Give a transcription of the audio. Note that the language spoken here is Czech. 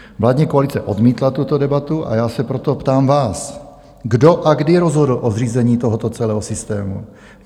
Vládní koalice odmítla tuto debatu, a já se proto ptám vás: Kdo a kdy rozhodl o zřízení tohoto celého systému?